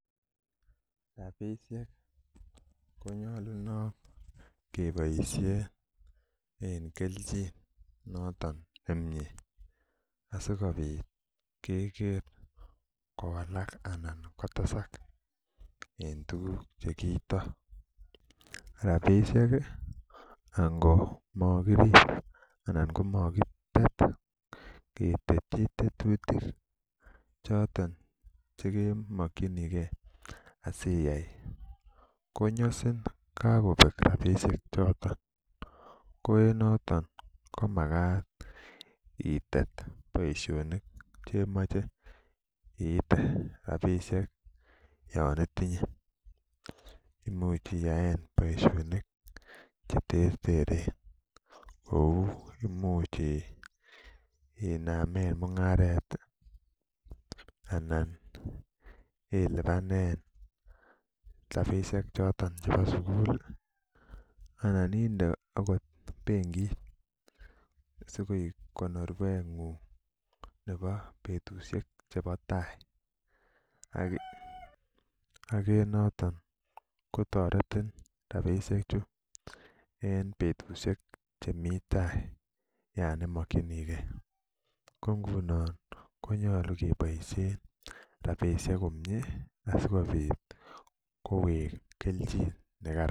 Rapisiek konyolunot keboisien en kelenjin noton nemie asikobit keker kowalak anan kotesak en tuguk chekiito. Rapisiek ih ango mokirip anan ngo makitet ketetyi tetutik choton chekimokyingee asiyai konyosin kakobek rapisiek choton ko en noton ko makat itet boisionik chemoche iite rapisiek yon itinye imuch iyaen boisionik cheterteren kou imuch inamen mung'aret anan ilipanen rapisiek choton chebo sugul anan inde okot benkit sikoik konorwet ng'ung nebo betusiek chebo tai ak en noton ko toretin rapisiek chu en betusiek chemii tai yon imokyinigee ko ngunon ko nyolu keboisien rapisiek komie asikobit kowek kelchin nekaran